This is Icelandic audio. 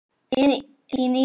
Þín Íris Björk.